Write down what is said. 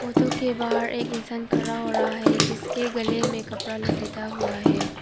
Auto के बाहर एक इंसान खड़ा हो रहा है जिसके गले में कपड़ा लपेट हुआ है।